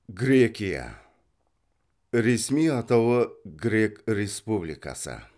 грекия ресми атауы грек республикасы